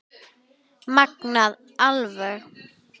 Magnað alveg.